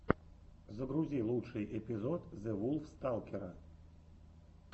загрузи лучший эпизод зэвулфсталкера